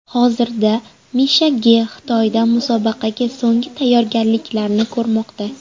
Hozirda Misha Ge Xitoyda musobaqaga so‘nggi tayyorgarliklarni ko‘rmoqda.